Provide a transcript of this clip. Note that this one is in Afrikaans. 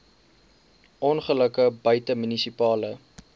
ongelukke buite munisipale